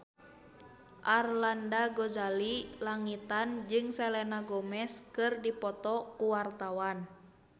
Arlanda Ghazali Langitan jeung Selena Gomez keur dipoto ku wartawan